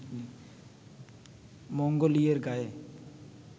মঙ্গলীয়ের গায়ে